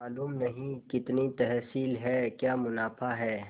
मालूम नहीं कितनी तहसील है क्या मुनाफा है